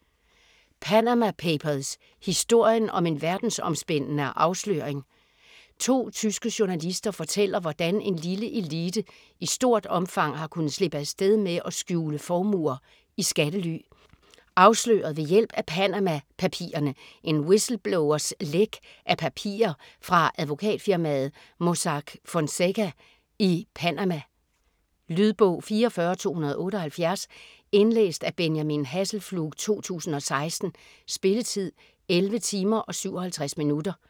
Panama papers: historien om en verdensomspændende afsløring To tyske journalister fortæller, hvordan en lille elite i stort omfang har kunnet slippe afsted med at skjule formuer i skattely. Afsløret ved hjælp af "Panama-papirerne", en whistleblowers læk af papirer fra advokatfirmaet Mossack Fonseca i Panama. Lydbog 44278 Indlæst af Benjamin Hasselflug, 2016. Spilletid: 11 timer, 57 minutter.